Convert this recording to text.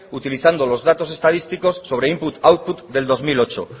utilizando los datos estadísticos sobre input output del dos mil ocho